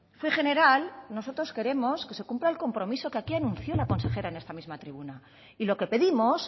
fue general nosotros queremos que se cumpla el compromiso que aquí anunció la consejera en esta misma tribuna y lo que pedimos